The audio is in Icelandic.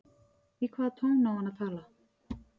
Leikurinn útí veður og vind